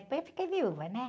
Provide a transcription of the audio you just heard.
Depois eu fiquei viúva, né?